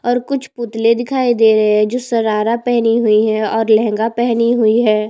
ओर कुछ पुतले दिखाई दे रहै है जो सरारा पहने हुए है और लहंगा पहनी हुई है।